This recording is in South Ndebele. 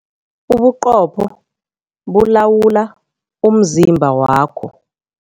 Ubuqopho bulawula umzimba wakho.